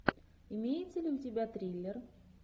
имеется ли у тебя триллер